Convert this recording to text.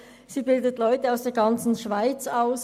Sie bildet Leute aus der ganzen Schweiz aus.